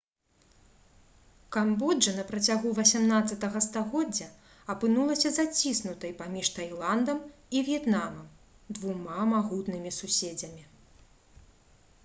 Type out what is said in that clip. камбоджа на працягу 18 стагоддзя апынулася заціснутай паміж тайландам і в'етнамам двума магутнымі суседзямі